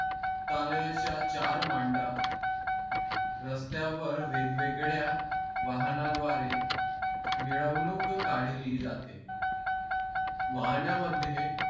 तालेयच्या चार मांडा रस्त्यावर वेगवेगळ्या वाहनाद्वारे मिरवनूक काढली जाते वाहणामध्ये